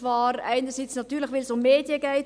Dies natürlich, weil es zum einen um Medien geht.